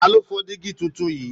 Ta ló fọ dígí tuntun yìí?